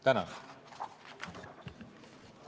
Tänan!